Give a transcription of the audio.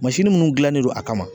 Mansiniw munnu dilannen don a kama.